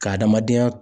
Ka adamadenya